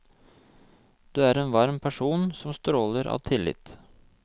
Du er en varm person, som stråler av tillit.